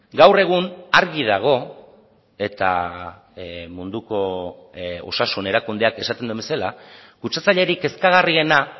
gaur egun argi dago eta munduko osasun erakundeak esaten duen bezala kutsatzailerik kezkagarriena